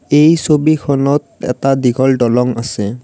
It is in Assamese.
এই ছবিখনত এটা দীঘল দলং আছে।